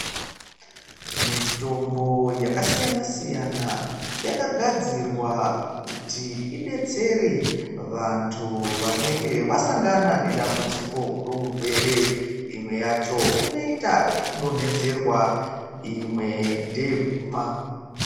Mitombo yakasiyana-siyana yakagadzirwa kuti idetsere vantu vanenge vasangana nedambudziko rourwere. Imwe yacho inoita zvekudonhedzerwa, imwe ndeyekumwa.